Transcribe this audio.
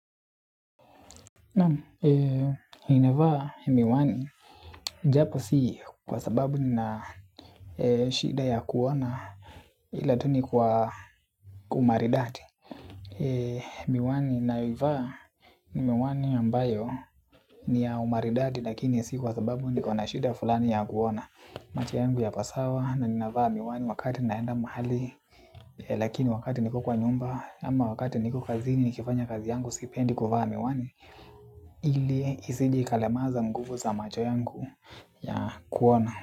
Naam, ninavaa miwani japo si kwa sababu nina shida ya kuona ila tu ni kwa umaridadi. Miwani ninayoivaa ni miwani ambayo ni ya umaridadi lakini si kwa sababu niko na shida fulani ya kuona. Macho yangu yako sawa na ninavaa miwani wakati naenda mahali. Lakini wakati niko kwa nyumba ama wakati niko kazini nikifanya kazi yangu sipendi kuvaa miwani ili isije ikalemaza nguvu za macho yangu ya kuona.